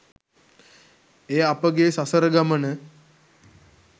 එය අපගේ සසර ගමන